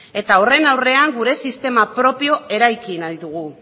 eta horren aurrean gure sistema propioa eraiki nahi dugu